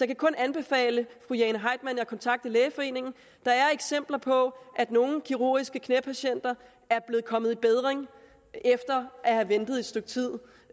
kan kun anbefale fru jane heitmann at kontakte lægeforeningen der er eksempler på at nogle kirurgiske knæpatienter er kommet i bedring efter at have ventet et stykke tid